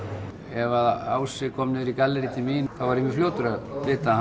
ef Ási kom niður í gallerý til mín þá var ég fljótur að vita